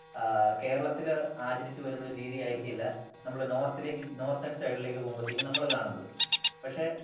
ആ കേരളത്തില് ആചരിച്ച് വരുന്ന ഒരു രീതി ആയിരിക്കില്ല നമ്മള് നോർത്തിലേക്ക് നോർത്തേൺ സൈഡിലേക്ക് പോകുമ്പോഴത്തേക്ക് നമ്മള് കാണുന്നത്.പക്ഷേ